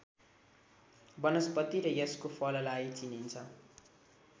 वनस्पति र यसको फललाई चिनिन्छ